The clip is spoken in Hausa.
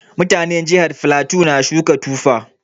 Mutanin jihar flatu na suka Tufa